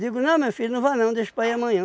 não meu filho, não vá não, deixa para ir amanhã.